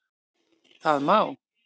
Það má